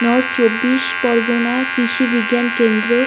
North চব্বিশ পরগনা কৃষি বিজ্ঞান কেন্দ্র।